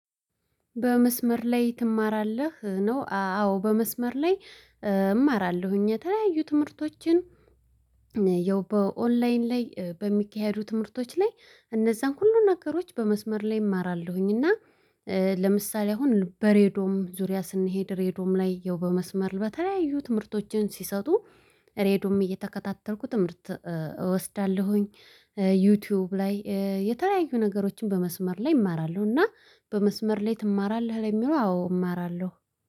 በመስመር ላይ ትማራለህ? ነው አዎ በመስመር ላይ እማራለሁኝ የተለያዩ ትምህርቶችን። ያው በኦንላይን ላይ በሚካሄዱ ትምህርቶች ላይ እነዛን ሁሉ ነገሮች በመስመር ላይ እማራለሁኝ። እና ለምሳሌ አሁን በሬድዮ ዙሪያ ስንሄድ ሬድዮም ላይ ያው በመስመር በተለያዩ ትምህርቶችን ሲሰጡ ሬድዮም እየተከታተልኩ ትምህርት እወስዳለሁኝ። ዩቲዩብ ላይ የተለያዩ ነገሮችን በመስመር ላይ እማራለሁ። እና በመስመር ላይ ትማራለህ? ለሚለው አዎ እማራለሁ